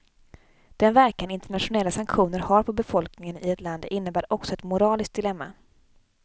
Den verkan internationella sanktioner har på befolkningen i ett land innebär också ett moraliskt dilemma.